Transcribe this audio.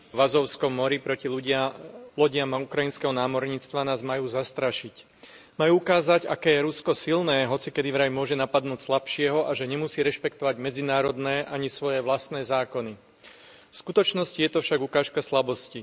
Vážená pani predsedajúca, útoky Ruska v azovskom mori proti lodiam ukrajinského námorníctva nás majú zastrašiť. Majú ukázať, aké je Rusko silné, hocikedy vraj môže napadnúť slabšieho a že nemusí rešpektovať medzinárodné ani svoje vlastné zákony. V skutočnosti je to však ukážka slabosti.